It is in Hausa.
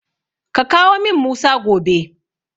Ka kawo min Musa gobe.